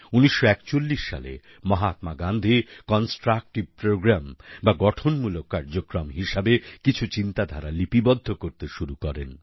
১৯৪১ সালে মহাত্মা গান্ধী কনস্ট্রাকটিভ প্রোগ্রামে বা গঠনমূলক কার্যক্রম হিসেবে কিছু চিন্তাধারা লিপিবদ্ধ করতে শুরু করেন